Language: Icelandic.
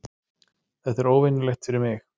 Þetta er óvenjulegt fyrir mig.